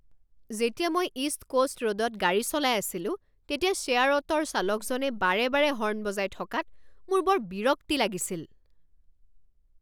যেতিয়া মই East Coast ৰোডত গাড়ী চলাই আছিলো তেতিয়া শ্বেয়াৰ অটোৰ চালকজনে বাৰে বাৰে হৰ্ণ বজাই থকাত মোৰ বৰ বিৰক্তি লাগিছিল।